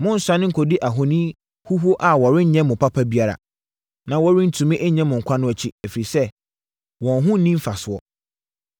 Monnsane nkɔdi ahoni huhuo a wɔrenyɛ mo papa biara, na wɔrentumi nnye mo nkwa no akyi, ɛfiri sɛ, wɔn ho nni mfasoɔ.